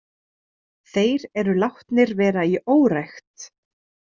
Þeir eru látnir vera í órækt.